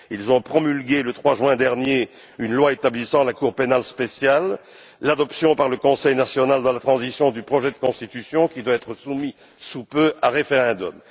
Ils ont promulgué, le 3 juin dernier, une loi établissant la Cour pénale spéciale, l'adoption par le Conseil national de la transition du projet de constitution qui doit être soumis sous peu à référendum.